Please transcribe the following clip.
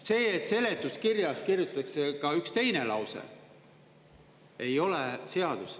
See, et seletuskirjas kirjutatakse ka üks teine lause, ei ole seadus.